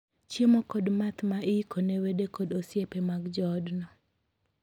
Chiemo kod math iiko ne wede kod osipe mag joodno.